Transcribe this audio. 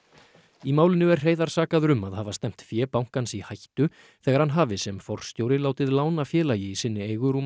í málinu er Hreiðar sakaður um að hafa stefnt fé bankans í hættu þegar hann hafi sem forstjóri látið lána félagi í sinni eigu rúman